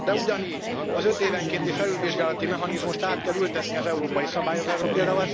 De ugyanígy az ötévenkénti felülvizsgálati mechanizmust is át kell ültetni az európai szabályozásba, pl.